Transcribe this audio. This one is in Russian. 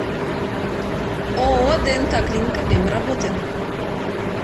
ооо днк клиника время работы